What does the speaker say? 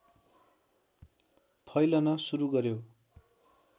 फैलन सुरु गर्‍यो